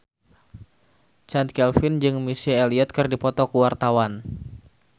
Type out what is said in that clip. Chand Kelvin jeung Missy Elliott keur dipoto ku wartawan